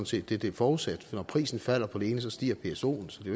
set det det er forudsat til når prisen falder på det ene stiger psoen så det